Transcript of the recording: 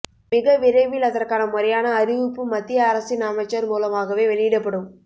மிக விரைவில் அதற்கான முறையான அறிவிப்பு மத்திய அரசின் அமைச்சர் மூலமாகவே வெளியிடப்படும்